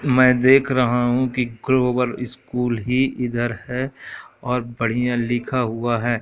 मैं देख रहा हूं कि ग्लोबल स्कूल ही इधर है और बढ़िया लिखा हुआ है।